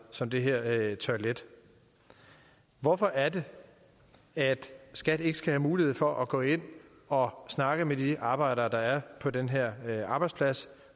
som det her toilet hvorfor er det at skat ikke skal have mulighed for at gå ind og snakke med de arbejdere der er på den her arbejdsplads